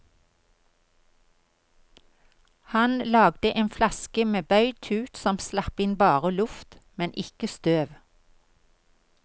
Han lagde en flaske med bøyd tut som slapp inn bare luft, men ikke støv.